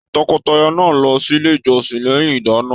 Tọkọtaya náà lọ sílé ìjọsìn lẹyìn ìdána.